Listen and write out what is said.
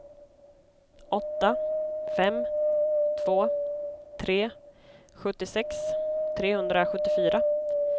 åtta fem två tre sjuttiosex trehundrasjuttiofyra